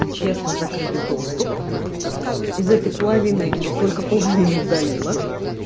честно закрыли доступ из этой половины только половину удалила